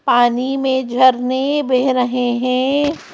पानी में झरने बह रहे है।